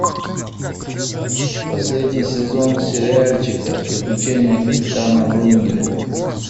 последний сезон сериальчика приключения капитана врунгеля